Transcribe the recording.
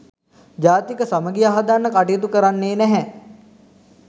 ජාතික සමගිය හදන්න කටයුතු කරන්නේ නැහැ.